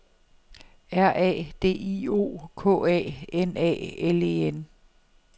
R A D I O K A N A L E N